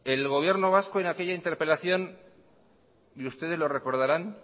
el gobierno vasco en aquella interpelación y ustedes lo recordarán